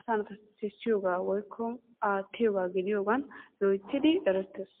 asaassi sissiyogaa woykko aattiyogaa gidiyogan loyttidi erettees.